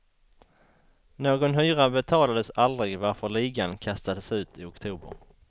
Någon hyra betalades aldrig varför ligan kastades ut i oktober.